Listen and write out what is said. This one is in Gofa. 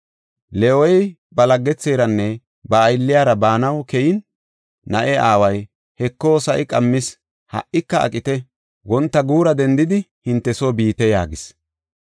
Leewey ba laggetheranne ba aylliyara baanaw keyin, na7e aaway, “Heko, sa7i qammis; ha77ika aqite; wonta guura dendidi hinte soo biite” yaagis.